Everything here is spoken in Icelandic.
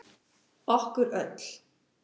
Okkur öll.